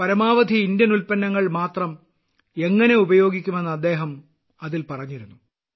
പരമാവധി ഇന്ത്യൻ ഉൽപ്പന്നങ്ങൾ മാത്രം എങ്ങനെ ഉപയോഗിക്കുമെന്ന് അദ്ദേഹം അതിൽ പറഞ്ഞിരുന്നു